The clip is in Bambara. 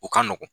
O ka nɔgɔn